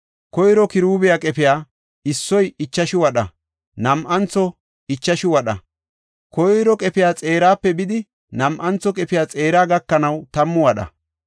Koyro kiruubiya qefey, issoy ichashu wadha; nam7anthoy ichashu wadha; koyro qefiya xeerape bidi nam7antho qefiya xeera gakanaw tammu wadha.